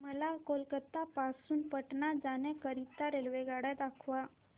मला कोलकता पासून पटणा जाण्या करीता रेल्वेगाड्या दाखवा